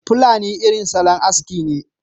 pulani irin salon aski ne